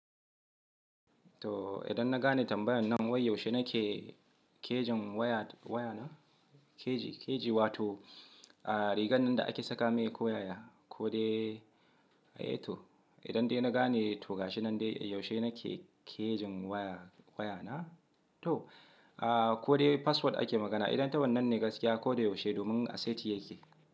To idan na gane tambayan nan wai yaushe na ke kejin waya, waya na keji keji wato rigan da ake saka mai koyaya, ko dai ai to idan dai na gane tuga shi nan dai yaushe na ke kejin waya waya na to, ko dai password ake magana idan tawan nan ne gaskiya ko dai yaushe domin a seti ya ke.